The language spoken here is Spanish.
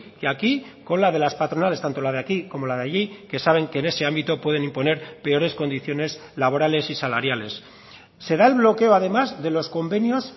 que aquí con la de las patronales tanto la de aquí como la de allí que saben que en ese ámbito pueden imponer peores condiciones laborales y salariales se da el bloqueo además de los convenios